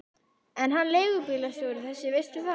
Er hann leigubílstjóri þessi, veistu það?